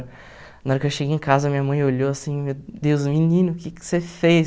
Na hora que eu cheguei em casa, minha mãe olhou assim, meu Deus, menino, o que que você fez?